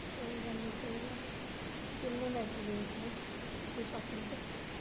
ਸਹੀ ਗੱਲ ਐ ਸਹੀ ਗੱਲ ਆ ਕਿੰਨੂ ਲੈ ਕੇ ਗਏ ਸੀ ਤੁਸੀਂ shopping ਤੇ?